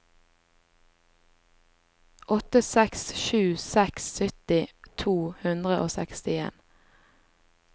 åtte seks sju seks sytti to hundre og sekstien